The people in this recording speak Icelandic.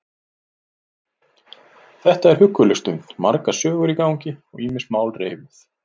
Þetta er hugguleg stund, margar sögur í gangi, ýmis mál reifuð.